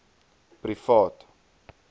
privaat